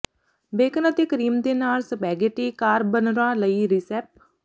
bacon ਅਤੇ cream ਦੇ ਨਾਲ ਸਪੈਗੇਟੀ ਕਾਰਬਨਰਾ ਲਈ ਰਿਸੈਪ